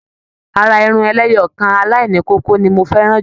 Àrà Irun ẹlẹ́yọọkan alaini kókó ni mo fẹràn jùlọ.